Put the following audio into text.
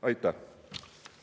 Aitäh!